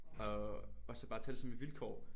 Og og så bare tage det som et vilkår